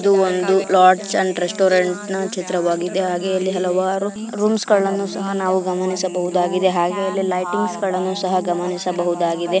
ಇದು ಒಂದು lodge and ರೆಸ್ಟೋರೆಂಟ್ನ ಚಿತ್ರವಾಗಿದೆ. ಹಾಗೆ ಇಲ್ಲಿ ಹಲವಾರು ರೂಮ್ಸ್ಗಳನ್ನು ಸಹ ನಾವು ಇಲ್ಲಿ ಗಮನಿಸಬಹುದಾಗಿದೆ. ಹಾಗೆ ಇಲ್ಲಿ ಲೈಟಿಂಗ್ಸ್ ಗಳನ್ನ ಸಹ ಗಮನಿಸಬಹುದಾಗಿದೆ.